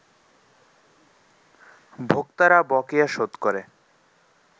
ভোক্তারা বকেয়া শোধ করে